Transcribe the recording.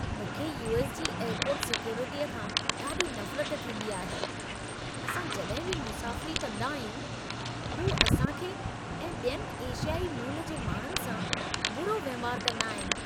मूंखे यू.एस. जी एयरपोर्ट सिक्योरिटीअ खां ॾाढी नफ़रत थींदी आहे। असां जॾहिं बि मुसाफ़िरी कंदा आहियूं, हू असां खे ऐं ॿियनि एशियाई मूल जे माण्हुनि सां बुरो वहिंवार कंदा आहिनि।